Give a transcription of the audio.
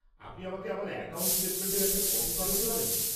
আপনি আমাকে আমার অ্যাকাউন্ট স্টেটমেন্টের একটা কপি পাঠাতে পারেন?